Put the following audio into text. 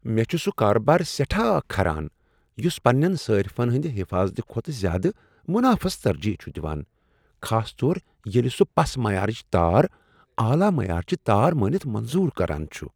مےٚ چھ سُہ کاربار سیٹھاہ کھران یُس پنٛنین صارفن ہٕنٛد حفاظت کھوتہٕ زیادٕ منافس ترجیح چھ دوان، خاص طور ییٚلہ سُہ پس معیارٕچ تار اعلی معیارٕچہ تار مٲنِتھ منظور کران چھُ۔